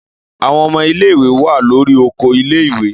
Àwõn õmõ ìléwè wà lórí òkó ìlèwé